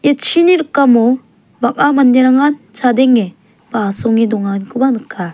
ia chini rikamo bang·a manderangan chadenge ba asonge donganikoba nika.